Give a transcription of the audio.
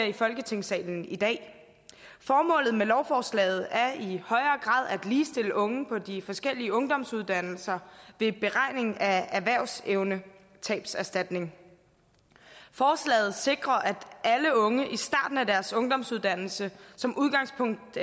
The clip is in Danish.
i folketingssalen i dag formålet med lovforslaget er i højere grad at ligestille unge på de forskellige ungdomsuddannelser ved beregningen af erhvervsevnetabserstatning forslaget sikrer at alle unge i starten af deres ungdomsuddannelse som udgangspunkt